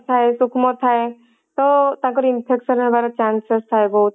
ଥାଏ ସୂକ୍ଷ୍ମ ଥାଏ ତ ତାଙ୍କର infection ହବାର chances ଥାଏ ବହୁତ